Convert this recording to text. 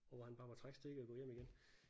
Og hvor han bare må trække stikket og gå hjem igen